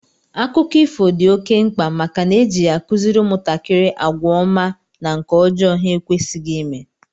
Akụkọ ifo dị oké mkpa màkà na eji ya akuziri umuntakiri àgwà ọma na nke ọjọọ ha ekwesighi ime